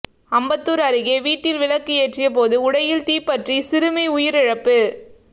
அம்பத்தூர் அருகே வீட்டில் விளக்கு ஏற்றியபோது உடையில் தீப்பற்றி சிறுமி உயிரிழப்பு